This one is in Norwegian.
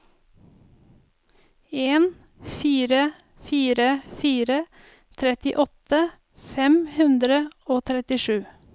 en fire fire fire trettiåtte fem hundre og trettisju